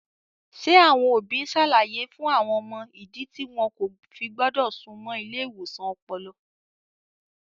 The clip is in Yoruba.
Ṣé àwọn òbí ń ṣàlàyé fún àwọn ọmọ ìdí tí wọn kò fi gbọ́dọ̀ súnmọ́ ilé ìwòsàn ọpọlọ?